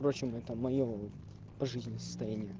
в прочем это моё пожизненно состояние